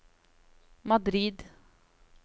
Madrid